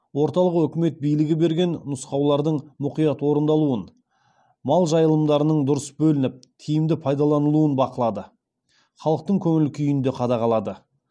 орталық өкімет билігі берген нұсқаулардың мұқият орындалуын мал жайылымдарының дұрыс бөлініп тиімді пайдаланылуын бақылады халықтың көңіл күйін де қадағалады